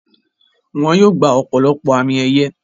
Wọ́n yóò gbà ọ̀pọ̀lọpọ̀ àmì ẹ̀yẹ.